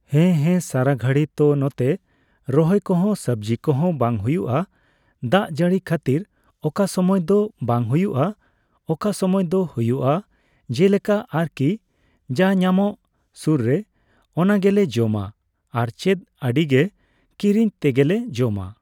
ᱦᱮᱸ ᱦᱮᱸ ᱥᱟᱨᱟᱜᱷᱟᱲᱤ ᱛᱚ ᱱᱚᱛᱮ ᱨᱚᱦᱚᱭᱠᱚᱦᱚᱸ ᱥᱚᱵᱡᱤ ᱠᱚᱦᱚᱸ ᱵᱟᱝ ᱦᱩᱭᱩᱜ ᱟ ᱾ ᱫᱟᱜᱡᱟᱹᱲᱤ ᱠᱷᱟᱹᱛᱤᱨ ᱚᱠᱟᱥᱩᱢᱟᱹᱭ ᱫᱚ ᱵᱟᱝ ᱦᱩᱭᱩᱜ ᱟ ᱚᱠᱟᱥᱩᱢᱟᱹᱭ ᱫᱚ ᱦᱩᱭᱩᱜ ᱟ ᱾ ᱡᱮᱞᱮᱠᱟ ᱟᱨᱠᱤ ᱡᱟ ᱧᱟᱢᱚᱜ ᱥᱩᱨᱨᱮ ᱚᱱᱟᱜᱮ ᱞᱮ ᱡᱚᱢᱟ ᱟᱨᱪᱮᱫ ᱟᱰᱤᱜᱮ ᱠᱤᱨᱤᱧ ᱛᱮᱜᱮᱞᱮ ᱡᱚᱢᱟ ᱾